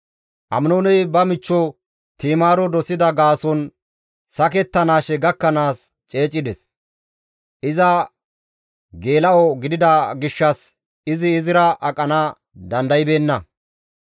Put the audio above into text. Aminooney ba michcho Ti7imaaro dosida gaason sakettanaashe gakkanaas ceecides; iza geela7o gidida gishshas izi izira aqana dandaybeenna.